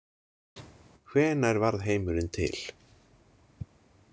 Hvenær varð heimurinn til?